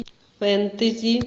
фэнтези